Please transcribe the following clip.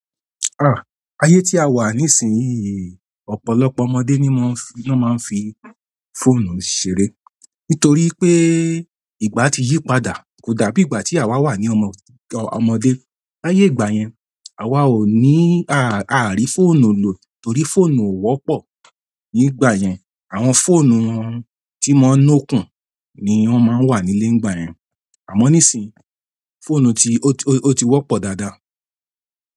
Ah! Ayé tí a wà nísinsìnyí, ọ̀pọ̀lọpọ̀ ọmọdé ni wọ́n ma ń fi fóònù ṣeré. Nítorí pé ìgbà tí yí padà kò dàbí ìgbà tí àwa wà ní ọmọdé. Ayé ìgbà yẹn àwa ò ní, a à rí fóònù lò torí fóònù ò wọ́pọ̀ ní ìgbà yẹn. Àwọn fóònù tí ń máa ń no kún ni wọn máa ń wà nílé nígbà yẹn. Àmọ́ nísinsìnyí fóònù ti, ó ti wọ́pọ̀ dáadáa.